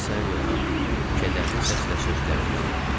Bilirsən Leonard, kədərli səslə sözlərini davam etdi.